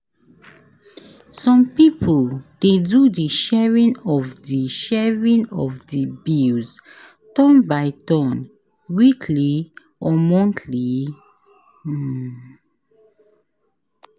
Some pipo de do di sharing of di sharing of di bills turn by turn weekly or monthly